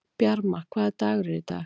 Bjarma, hvaða dagur er í dag?